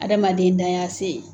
Adamaden dan y'a se ye.